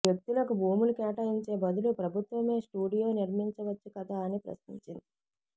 వ్యక్తులకు భూములు కేటాయించే బదులు ప్రభుత్వమే స్టూడియో నిర్మించవచ్చు కదా అని ప్రశ్నించింది